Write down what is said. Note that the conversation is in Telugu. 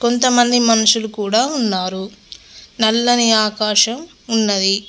కొంతమంది మనుషులు కూడా ఉన్నారు నల్లని ఆకాశం ఉన్నది.